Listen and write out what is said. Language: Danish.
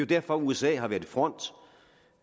derfor at usa har været i front